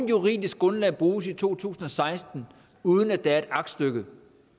juridisk grundlag bruges i to tusind og seksten uden at der er et aktstykke